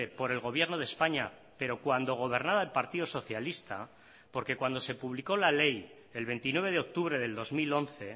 por el gobierno de españa pero cuando gobernaba el partido socialista porque cuando se publicó la ley el veintinueve de octubre del dos mil once